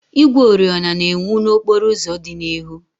Igwe oriọna na-enwu n'okporo ụzọ dị n'ihu.